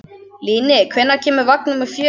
Líni, hvenær kemur vagn númer fjögur?